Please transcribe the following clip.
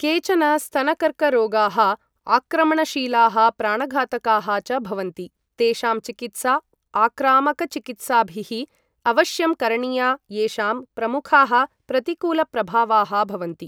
केचन स्तनकर्करोगाः आक्रमणशीलाः प्राणघातकाः च भवन्ति, तेषां चिकित्सा आक्रामकचिकित्साभिः अवश्यं करणीया येषां प्रमुखाः प्रतिकूलप्रभावाः भवन्ति।